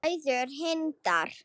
Bræður Hindar